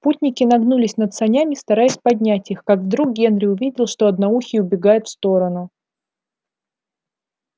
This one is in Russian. путники нагнулись над санями стараясь поднять их как вдруг генри увидел что одноухий убегает в сторону